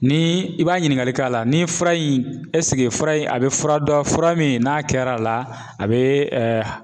Ni i b'a ɲininkali k'a la, ni fura in fura in a be fura dɔ, fura min n'a kɛrɛla, a be